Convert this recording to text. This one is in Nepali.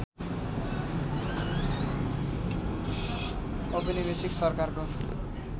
औपनिवेशिक सरकारको